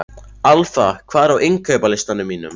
Alfa, hvað er á innkaupalistanum mínum?